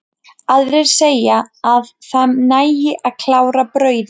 Aðrir segja að það nægi að klára brauðið.